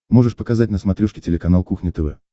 можешь показать на смотрешке телеканал кухня тв